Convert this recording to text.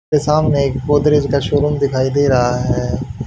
ये सामने एक गोदरेज का शोरूम दिखाई दे रहा है।